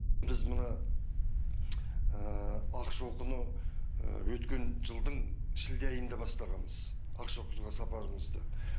біз мына ақшоқыны өткен жылдың шілде айында бастағанбыз ақшоқыға сапарымызды